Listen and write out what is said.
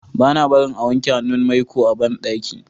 bana barin a wanke hannun maiko a banɗaki